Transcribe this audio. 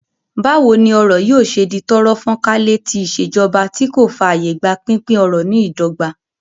Báwo ni ọrọ̀ yóò ṣe di tọ́rọ́ fán kálé tí ìṣèjọba tí kò fààyè gba pínpín ọrọ̀ ní ìdọ́gba?